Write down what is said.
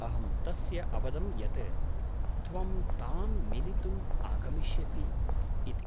अहं तस्य अवदं यत् त्वं तां मिलितुम् आगमिष्यसि इति।